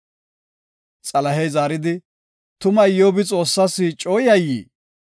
Xalahey zaaridi, “Tuma Iyyobi Xoossas coo yayyii?